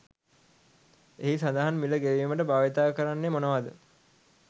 එහි සදහන් මිල ගෙවිමට භාවිතා කරන්නෙ මොනවාද.